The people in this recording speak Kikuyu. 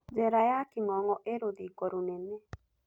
Jera ya king'ong'o ĩĩ rũthingo rũnene.